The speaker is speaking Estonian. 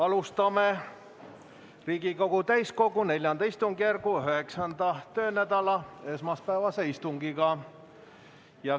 Alustame Riigikogu täiskogu IV istungjärgu 9. töönädala esmaspäevast istungit.